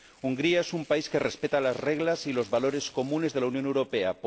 Hungría es un país que respeta las reglas y los valores comunes de la Unión Europea